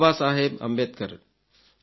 Baba Saheb Ambedkar